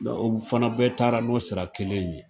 O fana bɛɛ taara n'o sira kelen in ye.